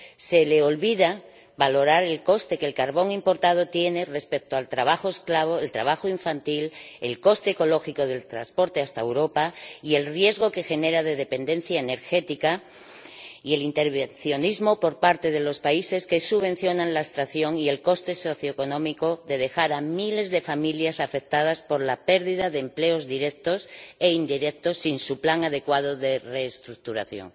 Se le olvida valorar el coste que el carbón importado tiene respecto al trabajo esclavo, el trabajo infantil, el coste ecológico del transporte hasta Europa y el riesgo que genera de dependencia energética, así como el intervencionismo por parte de los países que subvencionan la extracción y el coste socioeconómico de dejar a miles de familias afectadas por la pérdida de empleos directos e indirectos, sin su plan adecuado de reestructuración.